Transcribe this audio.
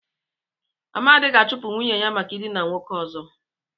Amadi ga-achụpụ nwunye maka ịdịna nwoke ọzọ.